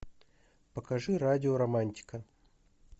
покажи радио романтика